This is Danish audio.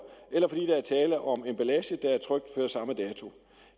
eller fordi der er tale om emballage der er trykt før samme dato